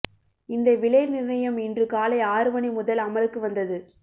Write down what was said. இந்த விலை நிர்ணயம் இன்று காலை ஆறு மணி முதல் அமலுக்கு வந்தது